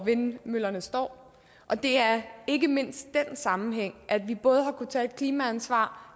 vindmøllerne står og det er ikke mindst den sammenhæng at vi både har kunnet tage et klimaansvar